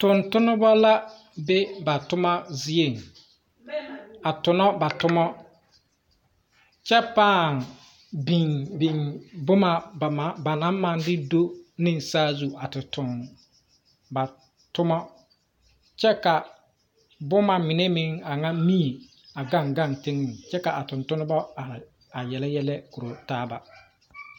Tungtumba la be ba tuma zeɛ a tuna ba tuma kye paa binbin buma ba nang mang de do ne saazu a te tung ba tuma kye ka buma mene meng anga nii a gan gan tenga kye ka a tuntun ba arẽ a yele yelɛ kuro taaba.